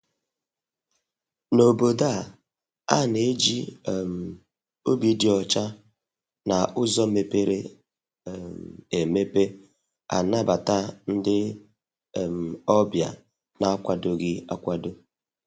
N' Obodo a, a na-eji um obi dị ọcha na uzo mepere um emepe anabata ndị um ọbịa na-akwadoghi akwado.